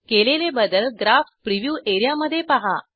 केलेले बदल graph preview area मधे पहा